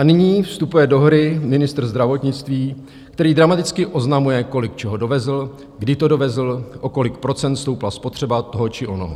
A nyní vstupuje do hry ministr zdravotnictví, který dramaticky oznamuje, kolik čeho dovezl, kdy to dovezl, o kolik procent stoupla spotřeba toho či onoho.